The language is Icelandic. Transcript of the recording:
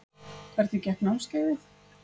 Hvernig gekk námskeiðið?